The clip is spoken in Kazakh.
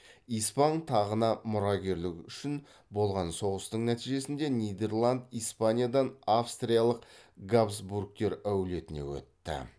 испан тағына мұрагерлік үшін болған соғыстың нәтижесінде нидерланд испаниядан австриялық габсбургтер әулетіне өтті